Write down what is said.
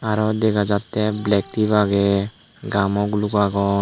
aro dega jattey black tip agey gamo guluk agon.